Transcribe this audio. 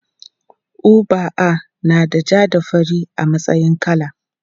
UBA nada ja da fari a matsayin kala.